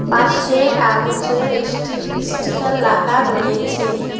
পাশে কাগজের ইস্টি-স্টিকার লাগা রয়েছে।